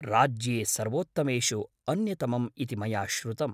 राज्ये सर्वोत्तमेषु अन्यतमम् इति मया श्रुतम् ।